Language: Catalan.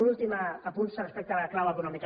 un últim apunt respecte a la clau econòmica